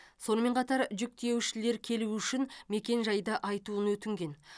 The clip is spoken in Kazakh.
сонымен қатар жүк тиеушілер келуі үшін мекен жайды айтуын өтінген